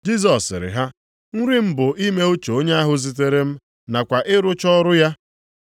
Jisọs sịrị ha, “Nri m bụ ime uche onye ahụ zitere m nakwa ịrụcha ọrụ ya.